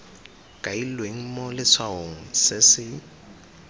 kailweng mo letshwaong se se